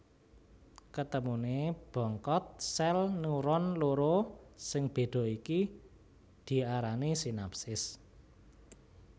Ketemuné bongkot sèl neuron loro sing béda iki diarani sinapsis